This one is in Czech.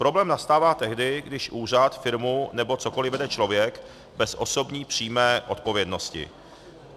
Problém nastává tehdy, když úřad, firmu nebo cokoli vede člověk bez osobní přímé odpovědnosti.